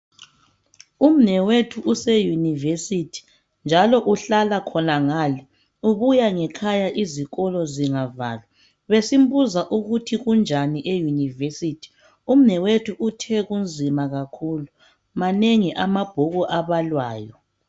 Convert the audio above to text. Umnewethu use yunivesithi njalo uhlala khonangale ubuya ngekhaya izikolo zingavalwa. Besimubuza ukuthi kunjani eyunivesithi umnewethu uthe kunzima kakhulu manengi amabhuku abalwayo